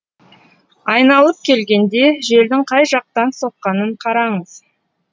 айналып келгенде желдің қай жақтан соққанын қараңыз